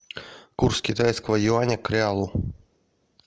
курс китайского юаня к реалу